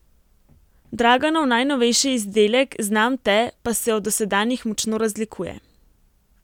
Draganov najnovejši izdelek Znam te pa se od dosedanjih močno razlikuje.